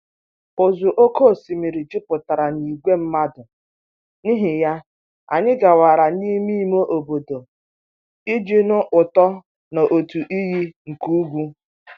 ụsọ oké osimiri jupụtara na ìgwè mmadụ, n'ihi ya, anyị gawara n'ime ime obodo iji nụ ụtọ n'otu iyi nke ugwu.